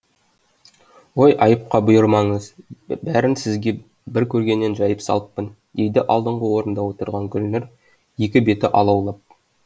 ой айыпқа бұйырмаңыз бәрін сізге бір көргеннен жайып салыппын дейді алдыңғы орында отырған гүлнұр екі беті алаулап